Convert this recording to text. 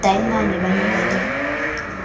ditaemane ba ne ba di